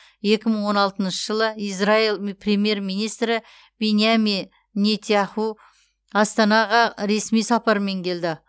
екі мың он алтыншы жылы израил премьер министрі биньямин нетяху астанаға ресми сапармен келді